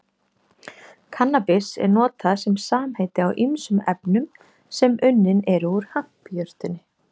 Kannabis er notað sem samheiti á ýmsum efnum sem unnin eru úr hampjurtinni